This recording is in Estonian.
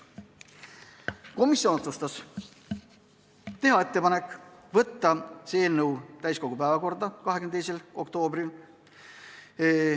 Komisjon otsustas teha ettepaneku võtta see eelnõu täiskogu päevakorda 22. oktoobriks.